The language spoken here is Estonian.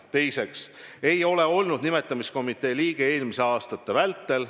Teiseks, ta ei ole olnud nimetamiskomitee liige eelmiste aastate vältel.